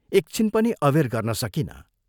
एकछिन पनि अबेर गर्न सकिनँ।